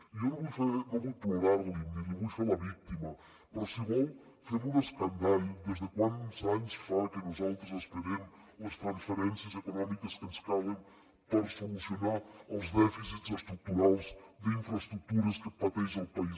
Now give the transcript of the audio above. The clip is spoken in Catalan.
i jo no vull plorar li ni li vull fer la víctima però si vol fem un escandall des de quants anys fa que nosaltres esperem les transferències econòmiques que ens calen per solucionar els dèficits estructurals d’infraestructures que pateix el país